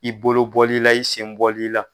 I bolobɔlila, i senbɔli la